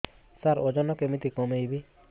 ସାର ଓଜନ କେମିତି କମେଇବି